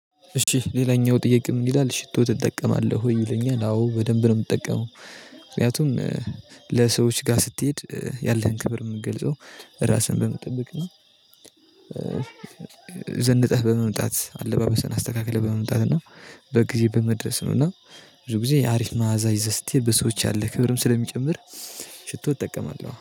እሺ ሌላኛው ጥያቄም ይላል ሽቶ ትጠቀማለህ ወይ ይለኛል አዎ በደንብ ነው የምጠቀመው። ምክንያቱም ለሰዎች ጋር ስትሄድ ያለህን ክብር የምትገልጸው ራስህን በመጠበቅ ነው። ዘንጠህ በመምጣት አለባበሰን አስተካክለህ በመምጣት እና በጊዜ በመድረስ ነው። እና ብዙ ጊዜ የአሪፍ መዓዛ ይዘህ ስትሄድ በሰዎች ያለ ክብርም ስለሚጨምር ሽቶ እጠቀማለሁ